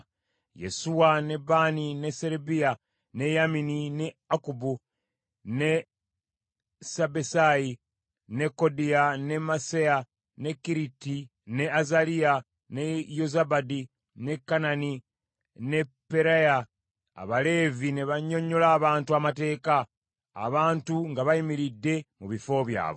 Yesuwa, ne Baani, ne Serebiya, ne Yamini, ne Akkubu, ne Sabbesayi, ne Kodiya, ne Masseya, ne Kerita, ne Azaliya, ne Yozabadi, ne Kanani ne Peraya, Abaleevi ne bannyonnyola abantu Amateeka, abantu nga bayimiridde mu bifo byabwe.